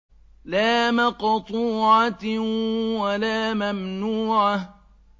لَّا مَقْطُوعَةٍ وَلَا مَمْنُوعَةٍ